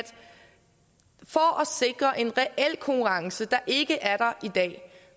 sikre en reel konkurrence der ikke er der i dag